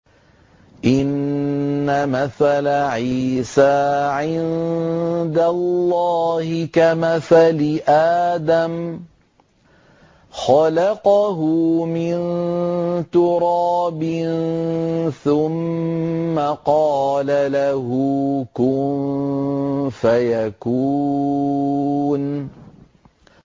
إِنَّ مَثَلَ عِيسَىٰ عِندَ اللَّهِ كَمَثَلِ آدَمَ ۖ خَلَقَهُ مِن تُرَابٍ ثُمَّ قَالَ لَهُ كُن فَيَكُونُ